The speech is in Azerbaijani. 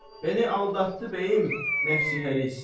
Bəni aldatdı bəyim, nəfsi həris.